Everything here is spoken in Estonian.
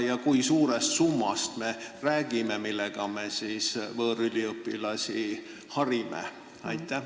Ja kui suurest summast me räägime, millega me võõrüliõpilasi harime?